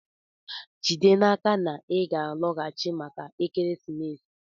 Jide n'aka na ị ga-alọghachi maka ekeresimesi!